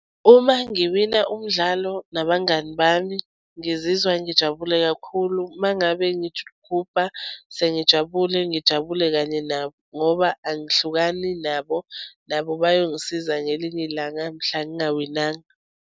Uma ngiwunina umdlalo nabangani bami ngizizwa ngijabule kakhulu uma ngabe ngigubha sengijabule ngijabule kanye nabo ngoba angihlukani nabo. Nabo bayongisiza ngelinye ilanga mhla ngingawinanga.